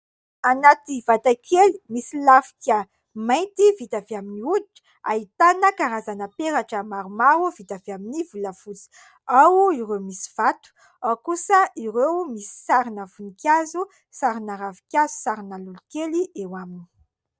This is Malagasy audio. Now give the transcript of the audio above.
Anaty vatakely misy lafika mainty vita avy amin'ny hoditra ahitana karazana peratra maromaro vita avy amin'ny volafotsy, ao ireo misy vato, ao kosa ireo misy sarina vonikazo, sarina ravinkazo, sarina lolokely eo aminy.